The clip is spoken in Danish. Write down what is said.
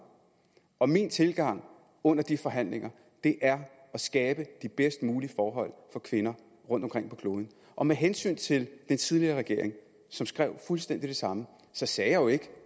og min tilgang under de forhandlinger er at skabe de bedst mulige forhold for kvinder rundtomkring på kloden og med hensyn til den tidligere regering som skrev fuldstændig det samme så sagde jeg jo ikke